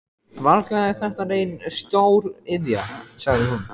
Varla er þetta nein stóriðja? sagði hún.